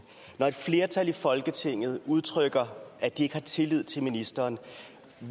når et flertal i folketinget udtrykte at de ikke har tillid til ministeren